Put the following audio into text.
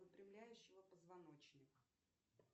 выпрямляющего позвоночник